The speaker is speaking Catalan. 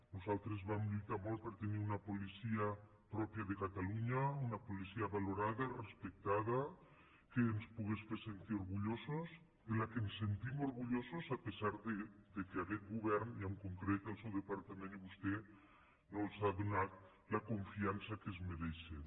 nosaltres vam lluitar molt per tenir una policia pròpia de catalunya una policia valorada respectada que ens pogués fer sentir orgullosos de què ens sentim orgullosos a pesar que aquest govern i en concret el seu departament i vostè no els han donat la confiança que es mereixen